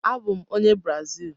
Abụ m onye Brazil.